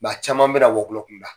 a caman bɛ na wɔkulɔ kun da.